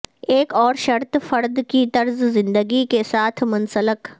ایک اور شرط فرد کی طرز زندگی کے ساتھ منسلک